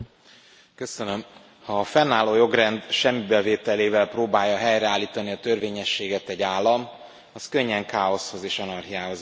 Elnök Úr! Ha a fennálló jogrend semmibevételével próbálja helyreállítani a törvényességet egy állam, az könnyen káoszhoz és anarchiához vezet.